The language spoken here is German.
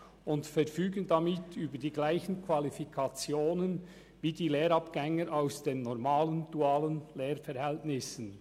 Damit verfügen sie über dieselben Qualifikationen wie die Lehrabgänger aus den normalen, dualen Lehrverhältnissen.